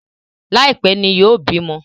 Laipẹ ní yóò bímọ